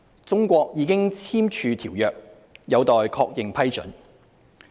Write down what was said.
中國已簽署《馬拉喀什條約》，有待確認批准。